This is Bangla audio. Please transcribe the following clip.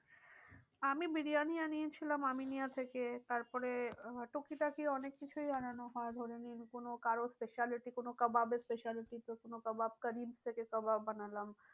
আমি বিরিয়ানি আনিয়ে ছিলাম আমিনিয়া থেকে। তার পরে আহ টুকি টাকি অনেক কিছুই আনানো হয় ধরেনিন কোনো কারো speciality কোনো kebab speciality তো কোনো kebab থেকে kebab আনালাম।